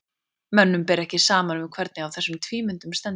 Mönnum ber ekki saman um hvernig á þessum tvímyndum stendur.